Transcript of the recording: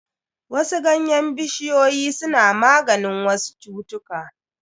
Wasu ganyen bishiyoyi suna maganin wasu cutuka.